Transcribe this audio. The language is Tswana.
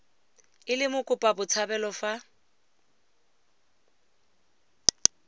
e le mokopa botshabelo fa